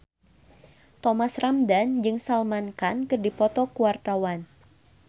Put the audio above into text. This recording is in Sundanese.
Thomas Ramdhan jeung Salman Khan keur dipoto ku wartawan